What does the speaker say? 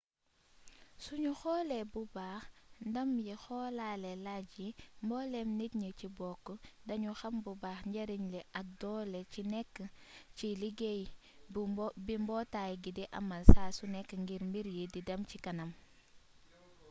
suñu xoole bu baax ndam yi xoolaale lajj yi mbooleem nit ñi ci bokk dañu xam bu baax njariñ li ak doole ci nekk ci liuggéey bi mbootaay gi di amal saa su nekk ngir mbir yi di dem ci kanam